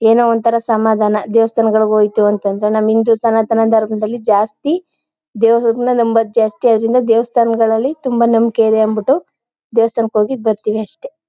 ಏನೋ ಒಂತರ ಸಮಾಧಾನ ದೇವಸ್ಥಾನಗಳಿಗೆ ಹೋಯ್ತು ಅಂತಂದ್ರೆ ನಮ್ಮ್ ಹಿಂದೂ ಸನಾತನ ಧರ್ಮದಲ್ಲಿ ಜಾಸ್ತಿ ದೇವರನ್ನು ನಂಬೋದು ಜಾಸ್ತಿಯಾಗಿಲ್ಲ ದೇವಸ್ಥಾನಗಳಲ್ಲಿ ತುಂಬಾ ನಂಬಿಕೆಯಿದೆ ಅನ್ ಬಿಟ್ಟು ದೇವಸ್ಥಾನಕ್ಕೆ ಹೋಗಿ ಬರ್ತೀವಿ ಅಷ್ಟೇ.